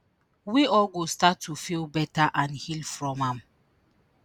we all go start to feel better and heal from am.”